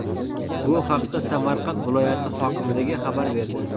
Bu haqda Samarqand viloyati hokimligi xabar berdi .